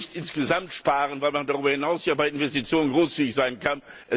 man muss nicht insgesamt sparen, weil man darüber hinaus ja bei Investitionen großzügig sein kann.